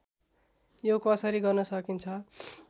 यो कसरी गर्न सकिन्छ